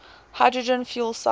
hydrogen fuel cell